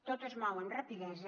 tot es mou amb rapidesa